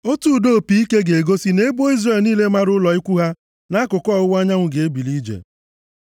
Otu ụda opi ike ga-egosi na ebo Izrel niile mara ụlọ ikwu ha nʼakụkụ ọwụwa anyanwụ ga-ebuli ije.